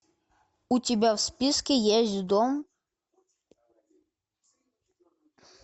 у тебя в списке есть дом